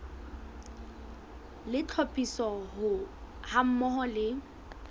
le tlhophiso ha mmoho le